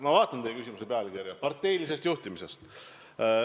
Ma vaatan teie küsimuse pealkirja: "Parteiline juhtimine".